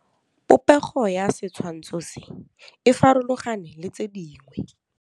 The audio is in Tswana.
Popêgo ya setshwantshô se, e farologane le tse dingwe.